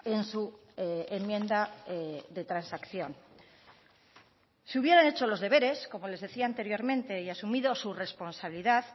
en su enmienda de transacción si hubieran hecho los deberes como les decía anteriormente y asumido su responsabilidad